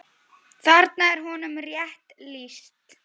Þarna er honum rétt lýst.